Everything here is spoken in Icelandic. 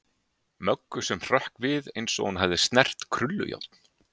Möggu sem hrökk við eins og hún hefði snert krullujárn.